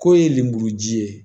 K'o ye lemuruji ye